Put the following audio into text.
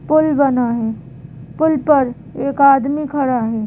पुल बना है पुल पर एक आदमी खड़ा है।